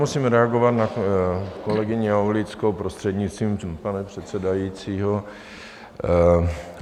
Musím reagovat na kolegyni Aulickou, prostřednictvím pana předsedajícího.